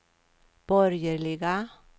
borgerliga